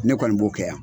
Ne kɔni b'o kɛ yan